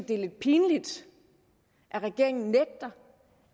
det er lidt pinligt at regeringen nægter